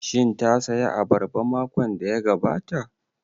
Shin ta saya abarba makon da ya gabata?